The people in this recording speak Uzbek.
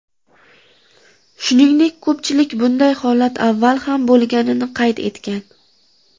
Shuningdek ko‘pchilik bunday holat avval ham bo‘lganini qayd etgan.